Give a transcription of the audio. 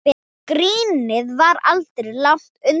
Grínið var aldrei langt undan.